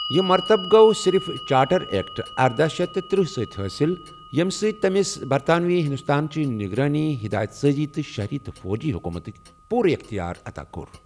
یہ مرطبہٕ گو٘و صرف چارٹر ایکٹ ارداہ شیتھ تٕتٕرہ سۭتۍ حٲصل یٔمہِ تمِس تمام برطانوی ہندوستانچہِ ' نِگرٲنی ، ہیدایت سازی تہٕ شہری تہٕ فوجی حکومتُك ' پوٗرٕ یختیار عطا کوٚر۔